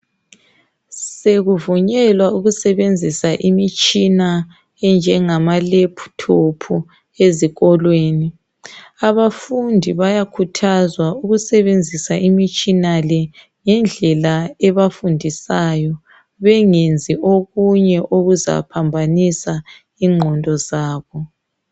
Sekuvunyelwa ukusebenzisa imitshina enjengama laptop ezikolweni. Abafundi bayakhuthazwa ukusebenzisa imitshina le ngendlela ebafundisayo, bengenzi okunye okuzaphambanisa ingqondo zabo.